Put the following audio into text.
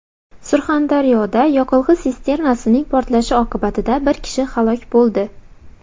Surxondaryoda yoqilg‘i sisternasining portlashi oqibatida bir kishi halok bo‘ldi.